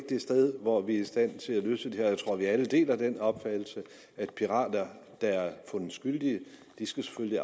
det sted hvor vi er i stand til at løse det her og jeg tror at vi alle deler den opfattelse at pirater der er fundet skyldige selvfølgelig